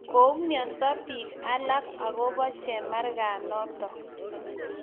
koumianza biik alake akobo chemargaa notok